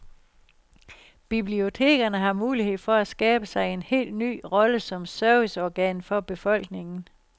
Bibliotekerne har mulighed for at skabe sig en helt ny rolle som serviceorgan for befolkningen.